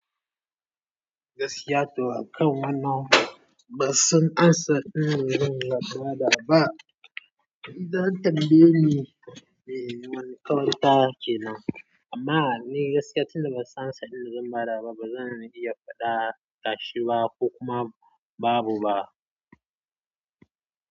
Gaskiya toh a kan wannan, ban san amsa inda zan ba da ba. Idan ka tambaye ni me mankawan take nan, amma ni gaskiya tunda ban san inda zan ba da ba, ba zan iya faɗa tashi ba ko kuma babu ba.